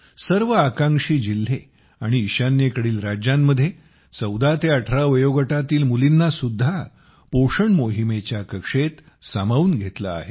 सर्व आकांक्षी जिल्हे आणि ईशान्येकडील राज्यांमध्ये 14 ते 18 वयोगटातील मुलींना सुद्धा पोषण मोहिमेच्या कक्षेत सामावून घेतले आहे